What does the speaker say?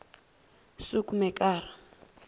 soekmekara